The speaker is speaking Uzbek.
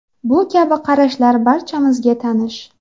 Bu kabi qarashlar barchamizga tanish.